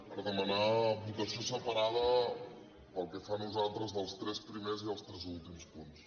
per demanar votació separada pel que fa a nosaltres dels tres primers i els tres últims punts